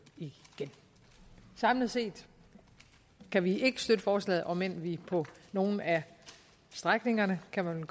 samlet set kan vi ikke støtte forslaget omend vi på nogle af strækningerne kan man